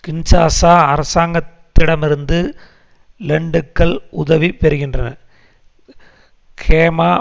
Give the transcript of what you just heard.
Kinshasa அரசாங்கத்திடமிருந்து லெண்டுக்கள் உதவி பெறுகின்றனர் ஹேமா